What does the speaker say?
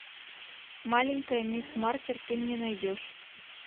маленькая мисс маркер ты мне найдешь